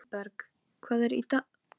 Hann bankaði á hurðina hjá gömlu konunni.